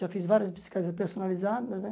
Já fiz várias bicicletas personalizadas, né?